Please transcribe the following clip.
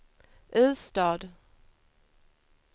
Ystad